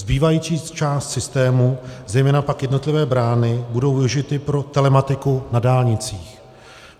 Zbývající část systému, zejména pak jednotlivé brány, budou využity pro telematiku na dálnicích.